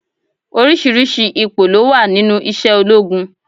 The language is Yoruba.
Oríṣiríṣi ipò ló wà nínú isé ológun